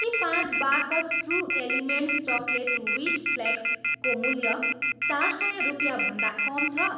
के पाँच बाकस True Elements chocolate wheat flakes को मूल्य चार सय रुपियाँभन्दा कम छ?